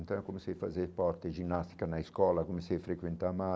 Então, eu comecei fazer esporte ginástica na escola, comecei a frequentar mais.